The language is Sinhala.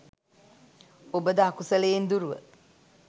ඔබද අකුසලයෙන් දුරුව